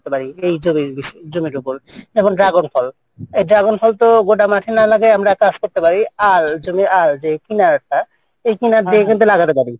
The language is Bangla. এই জমি এই জমির ওপর সে dragon ফল তো মাঠে না লাগিয়ে আমরা চাষ করতে পারি কিনারটা আর এই কিনা দিয়ে লাগাতে পারি।